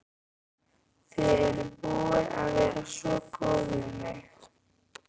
Þið eruð búin að vera svo góð við mig.